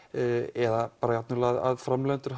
eða jafnvel að framleiðendur